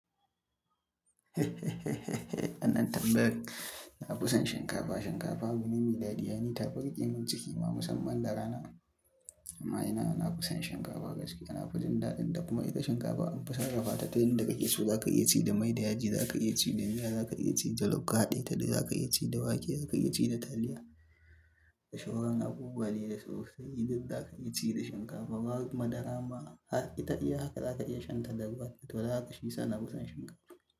Anan tambayar, "Nafi son shinkafa." Shinkafa abune mai daɗi, ai ni tafi riƙe mun ciki ma musamman da rana. Amma ina nafi son shinkafa gaskiya. Nafi jin daɗin ta kuma ita shinkafa an fi sarrafata ta inda kake so. Zaka iya ci da mai da yaji, zaka iya ci da miya, zaka iya ci jalof, ka haɗe tare, zaka iya ci da wake, zaka iya ci da taliya, da shauran abubuwa dai da sosai duk zaka iya ci da shinkafa. Madara ma har ita iya haka za lka iya shanta da ruwa to dan haka shiyasa nafi son shinkafa.